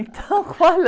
Então, qual é?